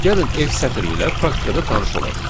Gəlin F sətri ilə praktikada tanış olaq.